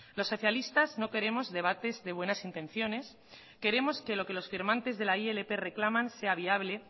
los socialistas no queremos debates de buenas intenciones queremos que lo que los firmantes de la ilp reclaman sea viable